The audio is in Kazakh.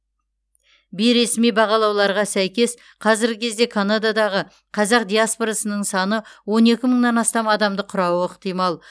бейресми бағалауларға сәйкес қазіргі кезде канададағы қазақ диаспорасының саны мыңнан астам адамды құрауы ықтимал